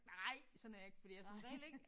Nej sådan er jeg ikke fordi jeg som regel ikke